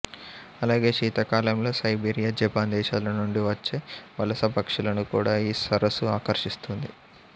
అలాగే శీతాకాలంలో Siberia Japan దేశాల నుండి వచ్చే వలసపక్షులను కూడా ఈ సరసు ఆకర్షిస్తుంది